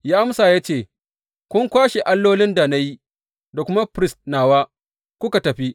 Ya amsa ya ce, Kun kwashe allolin da na yi, da kuma firist nawa, kuka tafi.